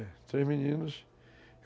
É, três meninos.